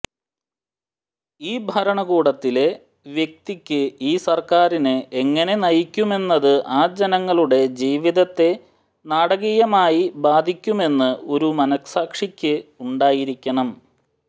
ഈ ഭരണകൂടത്തിലെ വ്യക്തിക്ക് ഈ സർക്കാരിനെ എങ്ങനെ നയിക്കുമെന്നത് ആ ജനങ്ങളുടെ ജീവിതത്തെ നാടകീയമായി ബാധിക്കുമെന്ന് ഒരു മനസാക്ഷിക്ക് ഉണ്ടായിരിക്കണം